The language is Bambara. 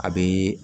A bɛ